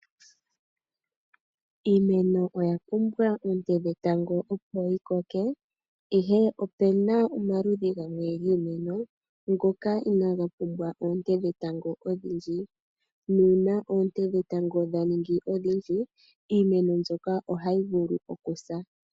Iimeno oya pumbwa oonte dhetango opo yikoke, ihe opena omaludhi gamwe giimeno ngoka inaaga pumbwa oonte dhetango odhindji nuuna oonte dhetango dhaningi odhindji iimeno mbyoka oyayi vulu okusa.